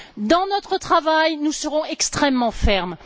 Dans notre travail, nous serons extrêmement fermes.